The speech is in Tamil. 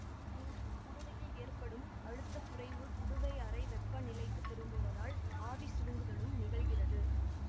இங்கு குடுவையில் ஏற்படும் அழுத்தக் குறைவு குடுவை அறை வெப்பநிலைக்குத் திரும்புவதால் ஆவிசுருங்குதலும் நிகழ்கிறது